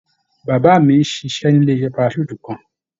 Bàbá mi ń ṣiṣẹ́ ní ilé-iṣẹ́ parachute kan.